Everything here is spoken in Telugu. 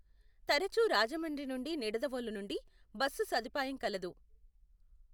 తరచు రాజమండ్రి నుండి నిడదవోలు నుండి బస్సు సదుపాయం కలదు.